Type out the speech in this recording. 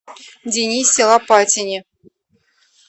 денисе лопатине